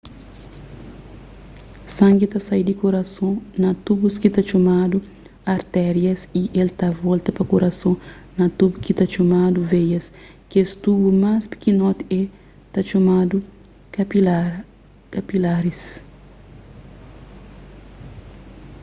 sangi ta sai di kurason na tubus ki ta txomadu artérias y el ta volta pa kurason na tubu ki ta txomadu veias kes tubu más pikinoti é ta txomadu kapilaris